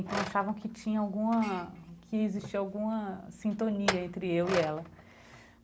Então achavam que tinha alguma... que existia alguma sintonia entre eu e ela.